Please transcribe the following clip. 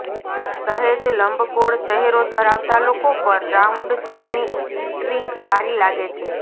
સહેજ લંબગોળ ચહેરો ધરાવતા લોકો પર રાઉન્ડ શેપની ઇટરિંગ સારી લાગે છે